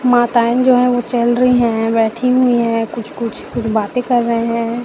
माताएं जो हैं ओ चल रहीं हैं बैठी हुई हैं कुछ कुछ कुछ बातें कर रहे हैं।